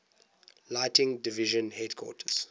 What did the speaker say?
lighting division headquarters